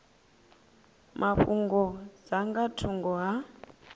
mafhungo dza nga thungo ha